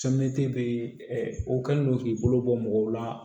bɛ o kɛlen no k'i bolo bɔ mɔgɔw la